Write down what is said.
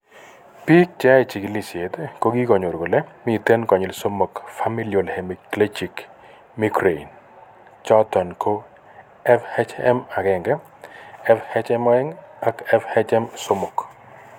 Biik cheyoe chigilisiet kokikonyor kole miten konyil somok Familial hemiplegic migraine choton ko FHM1,FHM2 ak FHM3